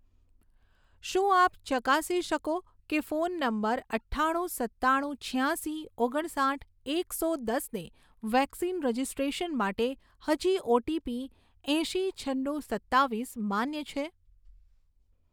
શું આપ ચકાસી શકો કે ફોન નંબર અઠ્ઠાણું સત્તાણું છ્યાંશી ઓગણસાઠ એક સો દસને વેક્સિન રજિસ્ટ્રેશન માટે હજી ઓટીપી એંસી છન્નું સત્તાવીસ માન્ય છે